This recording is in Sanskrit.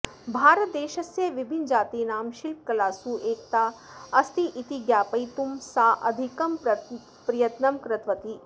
भारतदेशस्य विभिन्नजातीनां शिल्पकलासु एकता अस्तीति ज्ञापयितुं सा अधिकं प्रयत्नं कृतवती